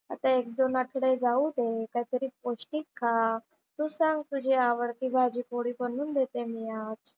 आता एक-दोन आठवडे जाऊ दे. काहीतरी पौष्टिक खा. तू सांग तुझी आवडती भाजी पोळी बनवून देते मी आज.